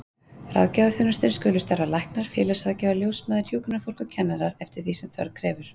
Að ráðgjafaþjónustunni skulu starfa læknar, félagsráðgjafar, ljósmæður, hjúkrunarfólk og kennarar, eftir því sem þörf krefur.